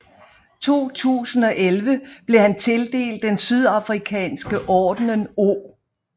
I 2011 blev han tildelt den sydafrikanske Ordenen O